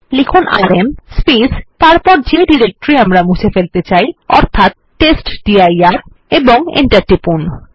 লিখুন আরএম এবং যে ডিরেক্টরি আমরা মুছে ফেলতে চাই অর্থাৎ টেস্টডির এবং এন্টার টিপুন